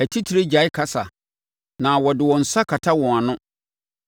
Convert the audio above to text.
atitire gyae kasa na wɔde wɔn nsa kata wɔn ano;